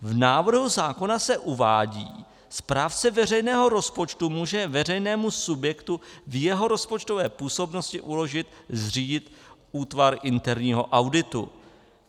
V návrhu zákona se uvádí "správce veřejného rozpočtu může veřejnému subjektu v jeho rozpočtové působnosti uložit zřídit útvar interního auditu".